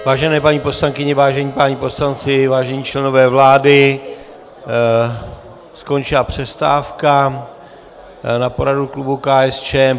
Vážené paní poslankyně, vážení páni poslanci, vážení členové vlády, skončila přestávka na poradu klubu KSČM.